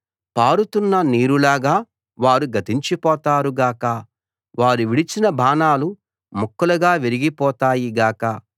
పారుతున్న నీరులాగా వారు గతించిపోతారు గాక వారు విడిచిన బాణాలు ముక్కలుగా విరిగిపోతాయి గాక